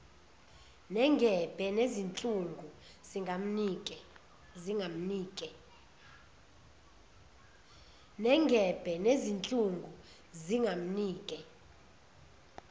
nengebhe nezinhlungu zingamnike